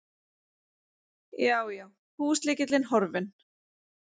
Já, já, húslykillinn horfinn!